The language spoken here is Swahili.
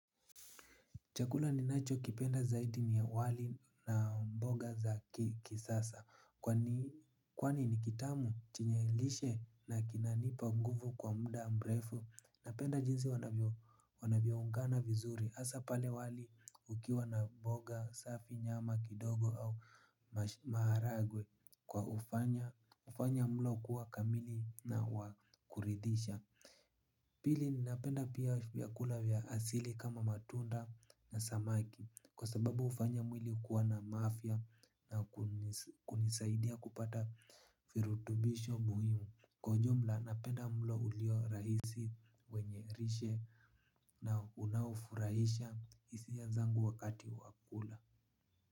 Chakula ni nacho kipenda zaidi ni wali na mboga za kisasa. Kwani ni kitamu chenyelishe na kinanipa nguvu kwa mda mrefu. Napenda jinsi wanavyoungana vizuri asa pale wali ukiwa na mboga, safi, nyama, kidogo au maharagwe kwa ufanya mlo kuwa kamili na wakuridisha. Pili ninapenda pia vyakula vya asili kama matunda na samaki kwa sababu ufanya mwili kuwa na mafia na kunisaidia kupata virutubisho muhimu. Kwa ujumla napenda mlo ulio rahisi wenye rishe na unaofurahisha isiya zangu wakati wakula.